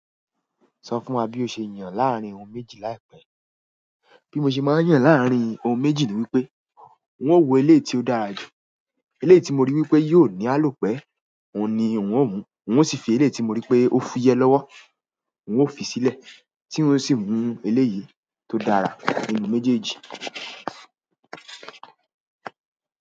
Sọ fún wa bí o ṣe yàn láàárín ohun méjì láìpẹ́. Bí mo ṣe máa yàn láàárín ohun méjì ni wípé n ó wo eléyìí tí ó dára jù. Eléyìí tí mo rí wípé yóò ní àlòpẹ́ òun ni ń ó mu. N ó sì fi eléyìí tí mo rí pé ó fúyẹ́ lọ́wọ́, ń ó fi sílẹ̀ tí ń ó sì mú eléyìí tó dára nínú méjèèjì.